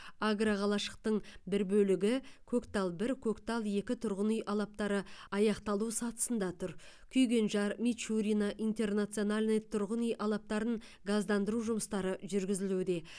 агроқалашықтың бір бөлігі көктал бір көктал екі тұрғын үй алаптары аяқталу сатысында тұр күйгенжар мичурино интернациональный тұрғын үй алаптарын газдандыру жұмыстары жүргізілуде